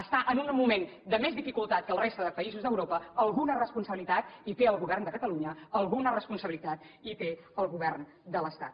està en un moment de més dificultat que la resta de països d’europa alguna responsabilitat hi té el govern de catalunya alguna res ponsabilitat hi té el govern de l’estat